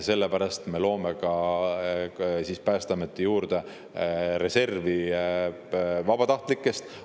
Sellepärast me loome Päästeameti juurde reservi vabatahtlikest.